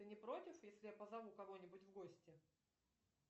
ты не против если я позову кого нибудь в гости